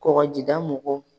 Kɔkɔjida mɔgɔw